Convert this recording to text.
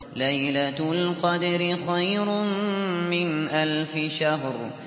لَيْلَةُ الْقَدْرِ خَيْرٌ مِّنْ أَلْفِ شَهْرٍ